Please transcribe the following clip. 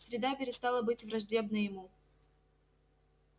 среда перестала быть враждебной ему